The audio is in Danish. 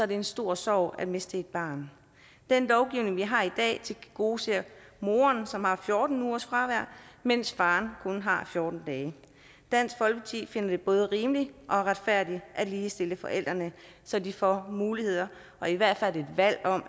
det en stor sorg at miste et barn den lovgivning vi har i dag tilgodeser moren som har fjorten ugers fravær mens faren kun har fjorten dage dansk folkeparti finder det både rimeligt og retfærdigt at ligestille forældrene så de får mulighed for i hvert fald